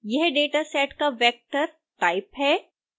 यह dataset का vector type है